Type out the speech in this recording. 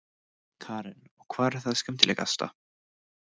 Karen: Og hvað er það skemmtilegasta?